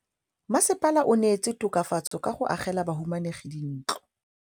Mmasepala o neetse tokafatsô ka go agela bahumanegi dintlo.